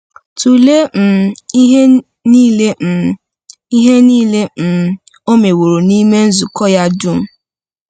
Tụlee um ihe niile um ihe niile um ọ meworo n’ime nzukọ ya dum!